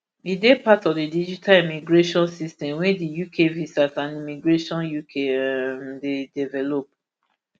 e dey part of di digital immigration system wey di uk visas and immigration ukvi um dey develop